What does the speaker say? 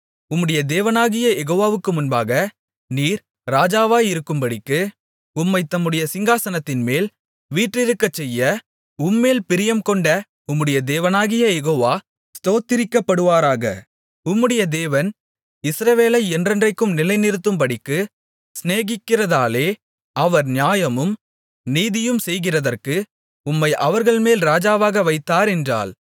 உம்முடைய தேவனாகிய யெகோவாவுக்கு முன்பாக நீர் ராஜாவாயிருக்கும்படிக்கு உம்மைத் தம்முடைய சிங்காசனத்தின்மேல் வீற்றிருக்கச் செய்ய உம்மேல் பிரியங்கொண்ட உம்முடைய தேவனாகிய யெகோவா ஸ்தோத்திரிக்கப்படுவாராக உம்முடைய தேவன் இஸ்ரவேலை என்றென்றைக்கும் நிலைநிறுத்தும்படிக்கு சிநேகிக்கிறதாலே அவர் நியாயமும் நீதியும் செய்கிறதற்கு உம்மை அவர்கள்மேல் ராஜாவாக வைத்தார் என்றாள்